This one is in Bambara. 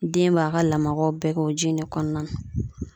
Den b'a ka lamagaw bɛɛ kɛ o ji in de kɔnɔna na.